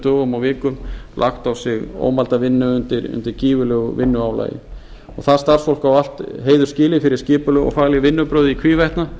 dögum og vikum lagt á sig ómælda vinnu undir gífurlegu vinnuálagi það starfsfólk á allt heiður skilið fyrir skipuleg og fagleg vinnubrögð í hvívetna